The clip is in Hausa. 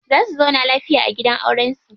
Za su zauna lafiya a gidan auren su.